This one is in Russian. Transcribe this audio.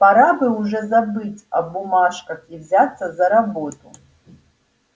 пора бы уже забыть о бумажках и взяться за работу